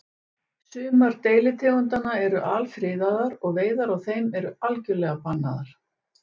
Sumar deilitegundanna eru alfriðaðar og veiðar á þeim eru algjörlega bannaðar.